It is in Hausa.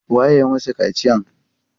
Waye ya masu kaciyan?